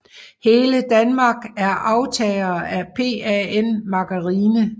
Hele Danmark er aftagere af PAN Margarine